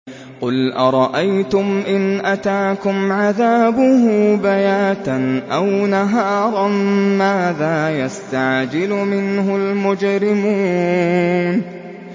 قُلْ أَرَأَيْتُمْ إِنْ أَتَاكُمْ عَذَابُهُ بَيَاتًا أَوْ نَهَارًا مَّاذَا يَسْتَعْجِلُ مِنْهُ الْمُجْرِمُونَ